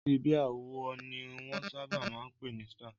Ọtí bíà wo ni wọ́n sábà máa ń pè ní Star?